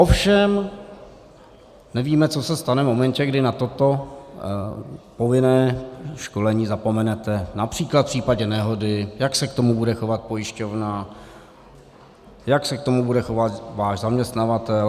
Ovšem nevíme, co se stane v momentě, kdy na toto povinné školení zapomenete, například v případě nehody, jak se k tomu bude chovat pojišťovna, jak se k tomu bude chovat váš zaměstnavatel.